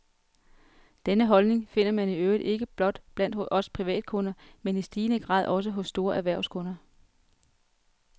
Denne holdning finder man i øvrigt ikke blot blandt os privatkunder, men i stigende grad også hos store erhvervskunder.